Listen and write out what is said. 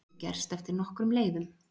Þetta getur gerst eftir nokkrum leiðum.